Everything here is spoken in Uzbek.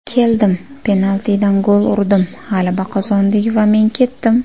Keldim, penaltidan gol urdim, g‘alaba qozondik va men ketdim.